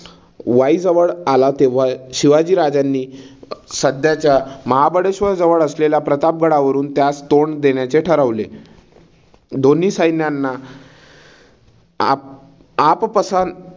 वाईजवळ आला. तेव्हा शिवाजी राजांनी सध्याच्या महाबळेश्वर जवळ असलेल्या प्रतापगडावरून त्यास तोंड देण्याचे ठरवले. दोन्ही सैन्यांना आप आप पसात